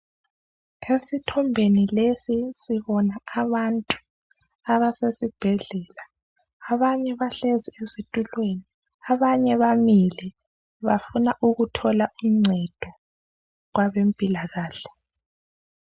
Esithombeni lesi sibona abantu abasesibhedlela. Abanye bahlezi ezitulweni, abanye bamile. Bafuna ukuthola uncedo kwabempilakahle.